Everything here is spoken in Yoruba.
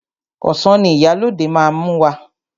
Ọsàn ni Ìyálóde máa mú wá.